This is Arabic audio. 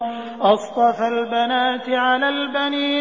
أَصْطَفَى الْبَنَاتِ عَلَى الْبَنِينَ